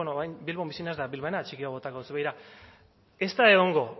orain bilbon bizi naiz eta bilbainada txiki bat botako dizuet begira ez da egongo